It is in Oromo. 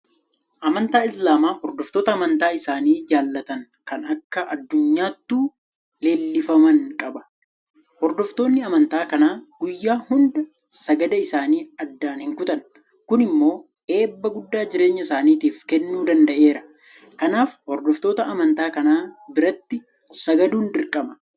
Amantaan Islaamaa hordoftoota amantii isaanii jaalatan kan akka addunyaattuu leellifaman qaba. Hordoftoonni amantaa kanaa guyyaa hunda sagada isaanii addaan hinkutan Kun immoo eebba guddaa jireenya isaaniitiif kennuu danda'eera. Kanaaf hordoftoota amantaa kanaa biratti sagaduun dirqama.